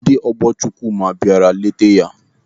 Ndị ọgbọ Chukwuma bịara ileta ya.